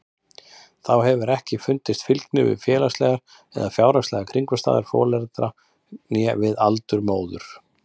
Þá hefur ekki fundist fylgni við félagslegar eða fjárhagslegar kringumstæður foreldra né við aldur móður.